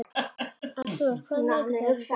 Arnoddur, hvaða vikudagur er í dag?